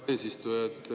Hea eesistuja!